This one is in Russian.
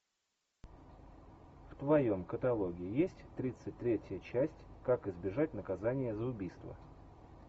в твоем каталоге есть тридцать третья часть как избежать наказания за убийство